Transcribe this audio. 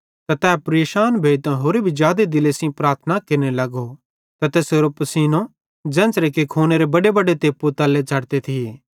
ते तै परेशान भोइतां होरि जादे दिले सेइं प्रार्थना केरने लगो ते तैसेरो पिसीनो बुझ़ा कि खूनेरे बडेबडे तेप्पु तल्ले झ़ड़ते थिये